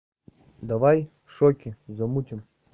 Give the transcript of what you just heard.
давай в шоке замутим